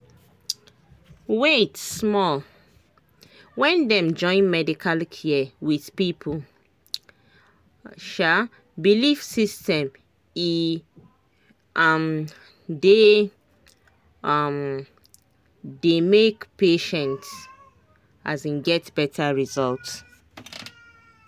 wait small — when dem join medical care with people um belief system e um dey um dey make patient um get better result.